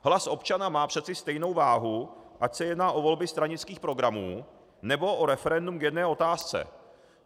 Hlas občana má přece stejnou váhu, ať se jedná o volby stranických programů, nebo o referendum k jedné otázce.